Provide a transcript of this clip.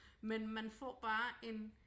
Men man får bare en